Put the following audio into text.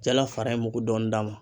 Jala fara in mugu dɔɔnin d'a ma.